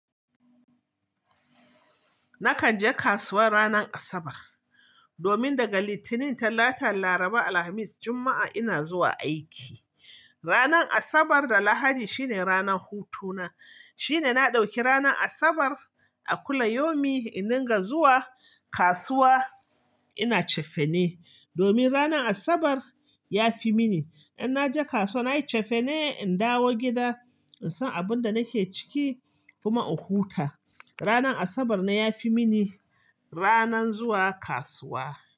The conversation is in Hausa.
Nakan je kasuwa ranar Asabar. Domin daga Litinin, Talata, Laraba, Alhamis, Juma'a ina zuwa aiki. Ranar Asabar da Lahadi shine ranar hutu na. Shine na ɗauki ranar Asabar a kullayomi iniga zuwa kasuwa ina cefane. Domin ranar Asabar ya fi mini. In naje kasuwa nayi cefane, in dawo gida, in san abun da nake ciki kuma in huta. Ranar Asabar na ya fi mini ranar zuwa kasuwa.